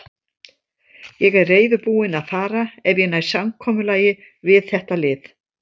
Ég er reiðubúinn að fara ef ég næ samkomulagi við þetta lið.